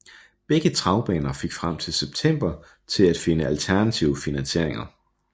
Begge travbaner fik frem til september til at finde alternative finansieringer